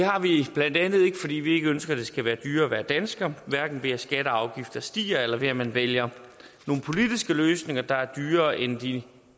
har vi blandt andet fordi vi ikke ønsker at det skal være dyrere at være dansker hverken ved at skatter og afgifter stiger eller ved at man vælger nogle politiske løsninger der er dyrere end de